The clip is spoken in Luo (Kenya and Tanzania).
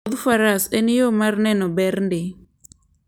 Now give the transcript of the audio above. Wuodh faras en yo mar neno ber ndi .